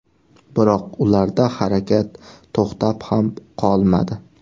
Biroq ularda harakat to‘xtab ham qolmadi.